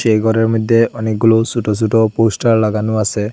এই ঘরের মধ্যে অনেকগুলো ছোট ছোট পোস্টার লাগানো আছে।